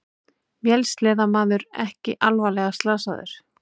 Vélsleðamaður ekki alvarlega slasaður